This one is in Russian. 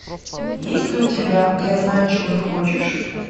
есть ли у тебя я знаю чего ты хочешь